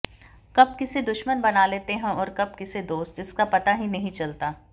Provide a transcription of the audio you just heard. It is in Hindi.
कब किसे दुश्मन बना लेते हैं और कब किसे दोस्त इसका पता ही नहीं चलता